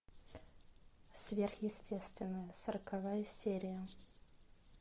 сверхъестественное сороковая серия